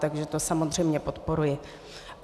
Takže to samozřejmě podporuji.